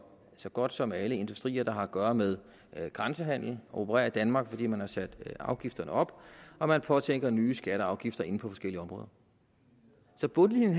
så godt som alle industrier der har at gøre med grænsehandel at operere i danmark fordi man har sat afgifterne op og man påtænker nye skatter og afgifter inden for forskellige områder så bundlinjen